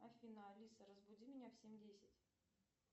афина алиса разбуди меня в семь десять